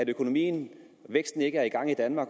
økonomi det er at man